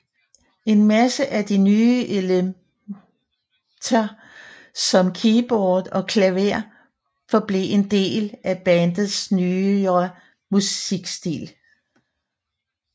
En masse af de nye elemnter som keyboard og klaver forblev en del af bandets nyere musikstil